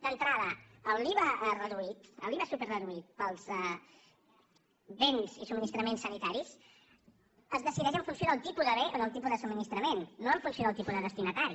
d’entrada l’iva reduït l’iva superreduït per als béns i subministraments sanitaris es decideix en funció del tipus de bé o del tipus de subministrament no en funció del tipus de destinatari